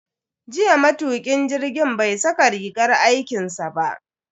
Jiya matukin jirgin bai saka rigar aikinsa ba.